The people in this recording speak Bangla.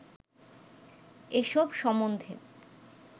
এসব সম্বন্ধে